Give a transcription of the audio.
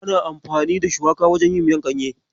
Ana amfani da shuwaka wajen yin miyar ganye.